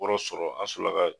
O yɔrɔ sɔrɔ an sɔrɔ la ka